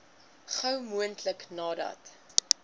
gou moontlik nadat